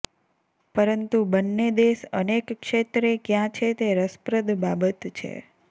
પરંતુ બંને દેશ અનેક ક્ષેત્રે ક્યાં છે તે રસપ્રદ બાબત છે